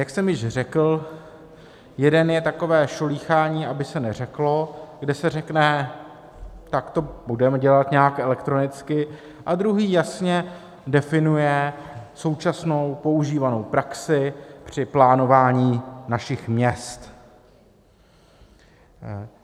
Jak jsem již řekl, jeden je takové šolíchání, aby se neřeklo, kde se řekne: tak to budeme dělat nějak elektronicky, a druhý jasně definuje současnou používanou praxi při plánování našich měst.